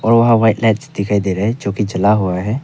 दो white light दिखाई दे रहे हैं जो कि जला हुआ है।